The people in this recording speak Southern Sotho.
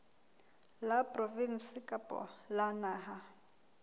la provinse kapa la naha